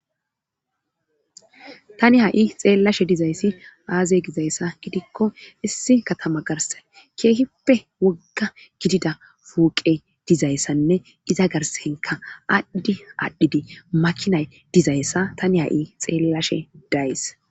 tani ha7i xeellashe dizayssi baaze gizayssa gidikko issi katama garsane keehippe wogga gidida fooqe dizayssanne iza garsankka adhdi aadhidi makinay dizayssa tani ha7i xeellashe days